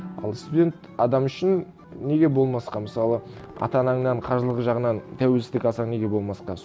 ал студент адам үшін неге болмасқа мысалы ата анаңнан қаржылық жағынан тәуелсіздік алсаң неге болмасқа